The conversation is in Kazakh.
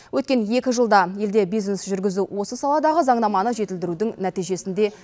өткен екі жылда елде бизнес жүргізу осы саладағы заңнаманы жетілдірудің нәтижесінде